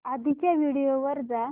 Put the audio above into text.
आधीच्या व्हिडिओ वर जा